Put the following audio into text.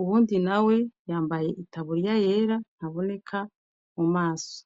uwundi nawe yambaye itaburiya yera ntaboneka mumaso.